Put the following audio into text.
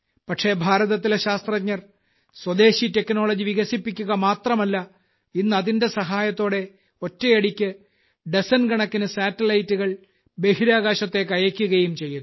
പക്ഷെ ഭാരതത്തിലെ ശാസ്ത്രജ്ഞർ സ്വദേശി ടെക്നോളജി വികസിപ്പിക്കുക മാത്രല്ല ഇന്ന് അതിന്റെ സഹായത്തോടെ ഒറ്റയടിക്ക് ഡസൻകണക്കിന് സാറ്റലൈറ്റ്സ് ബഹിരാകാശത്തേയ്ക്കയയ്ക്കുകയും ചെയ്യുന്നു